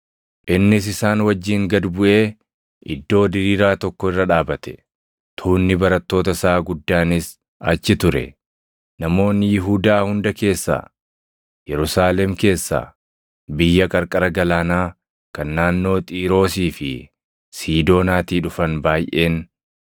Innis isaan wajjin gad buʼee iddoo diriiraa tokko irra dhaabate. Tuunni barattoota isaa guddaanis achi ture; namoonni Yihuudaa hunda keessaa, Yerusaalem keessaa, biyya qarqara galaanaa kan naannoo Xiiroosii fi Siidoonaatii dhufan baayʼeen,